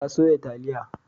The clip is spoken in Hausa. Ta soya taliya.